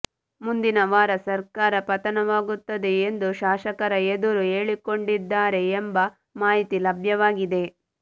ಮುಂದಿನವಾರ ಸರ್ಕಾರ ಪತನವಾಗುತ್ತದೆ ಎಂದು ಶಾಸಕರ ಎದುರು ಹೇಳಿಕೊಂಡಿದ್ದಾರೆ ಎಂಬ ಮಾಹಿತಿ ಲಭ್ಯವಾಗಿದೆ